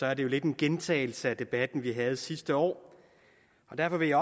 er det jo lidt en gentagelse af den debat vi havde sidste år derfor vil jeg